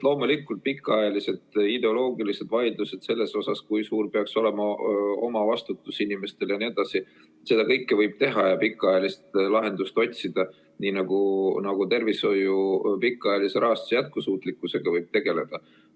Loomulikult, pikaajalised ideoloogilised vaidlused selle üle, kui suur peaks olema omavastutus inimestel ja nii edasi – seda kõike võib teha ja pikaajalist lahendust otsida, nii nagu tervishoiu pikaajalise rahastamise jätkusuutlikkusega võib tegeleda.